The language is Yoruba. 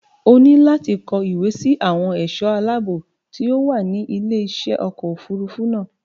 O ní láti kọ ìwé sí àwọn ẹ̀ṣọ́ aláàbọ̀ tí ó wà ní ilé iṣẹ́ ọkọ̀ òfurufú náà